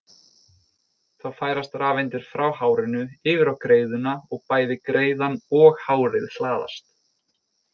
Þá færast rafeindir frá hárinu yfir á greiðuna og bæði greiðan og hárið hlaðast.